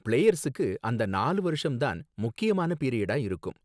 பிளேயர்ஸுக்கு அந்த நாலு வருஷம் தான் முக்கியமான பீரியடா இருக்கும்